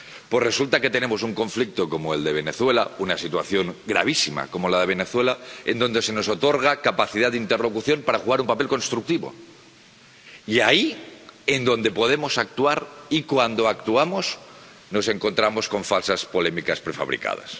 Pues resulta que tenemos un conflicto como el de Venezuela, una situación gravísima como la de Venezuela, donde se nos otorga capacidad de interlocución para jugar un papel constructivo, y ahí, donde podemos actuar y cuando actuamos, nos encontramos con falsas polémicas prefabricadas.